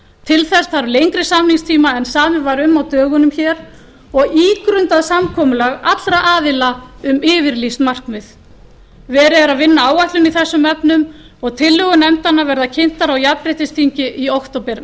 til þess þarf lengri samningstíma en samið var um á dögunum hér og ígrundað samkomulag allra aðila um yfirlýst markmið verið er að vinna áætlun í þessum efnum og tillögur nefndanna verða kynntar á jafnréttisþingi í október